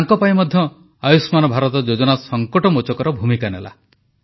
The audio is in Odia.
ତାଙ୍କପାଇଁ ମଧ୍ୟ ଆୟୁଷ୍ମାନ ଭାରତ ଯୋଜନା ସଂକଟମୋଚକର ଭୂମିକା ନେଲା